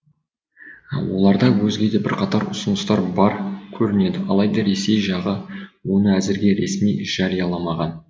оларда өзге де бірқатар ұсыныстар бар көрінеді алайда ресей жағы оны әзірге ресми жарияламаған